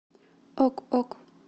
ок ок